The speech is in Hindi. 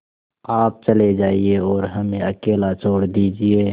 आप चले जाइए और हमें अकेला छोड़ दीजिए